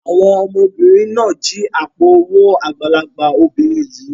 Àwọn ọmọbìnrin náà jí àpò-owó àgbàlagbà obìnrin yìí.